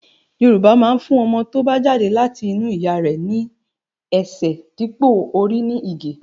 Yorùbá máa ń fún ọmọ tó bá jáde láti inú ìyá rẹ̀ ní ẹsẹ̀ dípò orí ní Ìgè